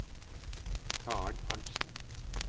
Karen Arntzen